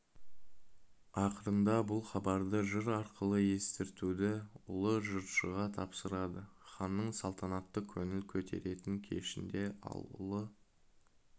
ақырында бұл хабарды жыр арқылы естіртуді ұлы жыршыға тапсырады ханның салтанатты көңіл көтеретін кешінде ал ұлы